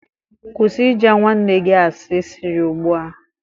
Kwụsị ịja nwanne gị asị sirị ugbu a